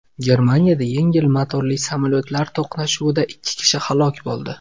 Germaniyada yengil motorli samolyotlar to‘qnashuvida ikki kishi halok bo‘ldi.